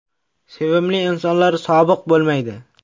Sevimli insonlar ‘sobiq’ bo‘lmaydi.